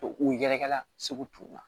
U yɛrɛkɛ la segu tubabu kan na